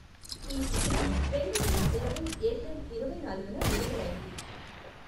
ఈ చిత్రం రెండువేల ఇరవై ఏప్రిల్ ఇరవై నాలుగున విడుదలైంది.